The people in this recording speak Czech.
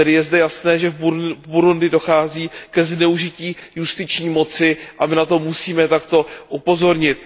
Tedy je zde jasné, že v Burundi dochází ke zneužití justiční moci a my na to musíme takto upozornit.